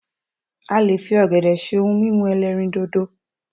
a lè fi ògèdè ṣe òun mímu elerindodo